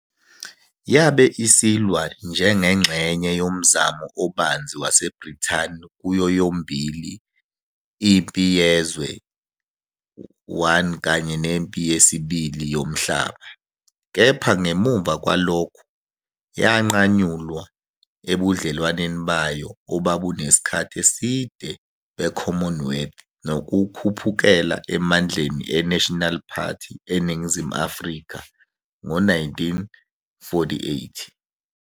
Yabe isilwa njengengxenye yomzamo obanzi waseBrithani kuyo yomibili iMpi Yezwe I kanye neMpi Yesibili Yomhlaba, kepha ngemuva kwalokho yanqanyulwa ebudlelwaneni bayo obabunesikhathi eside be-Commonwealth nokukhuphukela emandleni eNational Party eNingizimu Afrika ngo-1948.